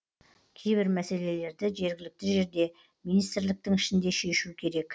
кейбір мәселелерді жергілікті жерде министрліктің ішінде шешу керек